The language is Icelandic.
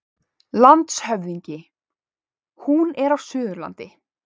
LANDSHÖFÐINGI: Hún er á Suðurlandi.